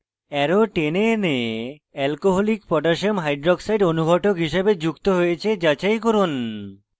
arrow টেনে এনে alcoholic potassium hydroxide alc koh অনুঘটক হিসাবে যুক্ত হয়েছে যাচাই করুন